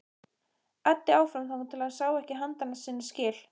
Æddi áfram þangað til hann sá ekki handa sinna skil.